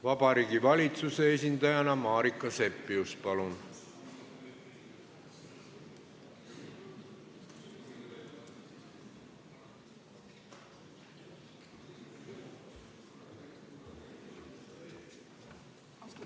Vabariigi Valitsuse esindajana Marika Seppius, palun!